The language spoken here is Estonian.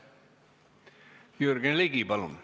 Jürgen Ligi, palun!